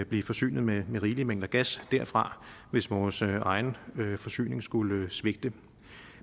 blive forsynet med rigelige mængder gas derfra hvis vores egen forsyning skulle svigte